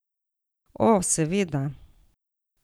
O, seveda.